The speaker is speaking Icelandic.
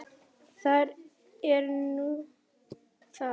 Það er nú það?